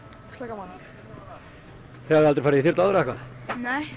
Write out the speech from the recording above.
gaman þið hafið aldrei farið í þyrlu áður eða hvað nei